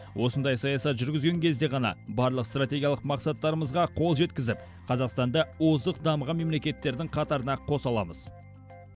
осындай саясат жүргізген кезде ғана барлық стратегиялық мақсаттарымызға қол жеткізіп қазақстанды озық дамыған мемлекеттердің қатарына қоса аламыз